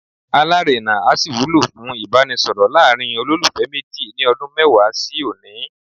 Alárèna á sì wúlò fún Ìbánisọ̀rọ̀ láàrin olólùfẹ́ méjì ní ọdún mẹ́wàá sí òní.